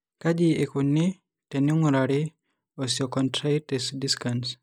Kaji eikoni teneing'urari eosteochondritis dissecans?